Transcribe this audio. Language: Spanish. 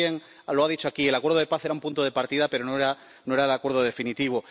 Alguien lo ha dicho aquí el acuerdo de paz era un punto de partida, pero no era no era el acuerdo definitivo.